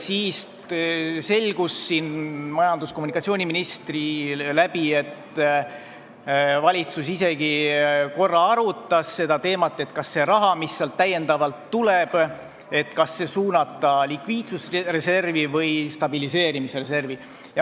Siis selgus siin majandus- ja kommunikatsiooniministri suu läbi, et valitsus isegi korra arutas seda teemat, kas see raha, mis sealt täiendavalt tuleb, suunata likviidsusreservi või stabiliseerimisreservi.